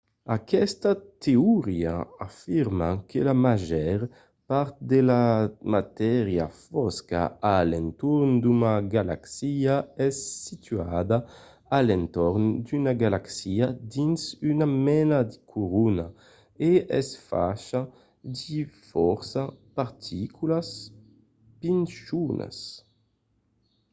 aquesta teoria afirma que la màger part de la matéria fosca a l’entorn d’una galaxia es situada a l’entorn d’una galaxia dins una mena de corona e es facha de fòrça particulas pichonas